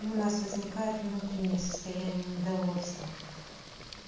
у нас возникает внутреннее состояние недовольства